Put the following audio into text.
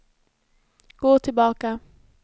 gå tillbaka